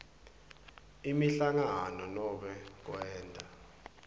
imihlangano nobe kwenta